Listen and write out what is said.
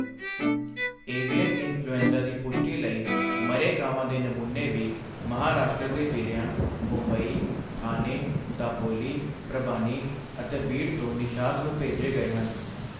Avian influenza ਦੀ ਪੁਸ਼ਟੀ ਲਈ ਮਰੇ ਕਾਵਾਂ ਦੇ ਨਮੂਨੇ ਵੀ ਮਹਾਂਰਾਸ਼ਟਰ ਦੇ ਜ਼ਿਲਿਆਂ ਮੁੰਬਈ, ਥਾਨੇ, ਦਾਪੋਲੀ, ਪ੍ਰਭਾਨੀ ਅਤੇ ਬੀੜ ਤੋਂ ਨਿਸ਼ਾਦ ਨੂੰ ਭੇਜੇ ਗਏ ਹਨ।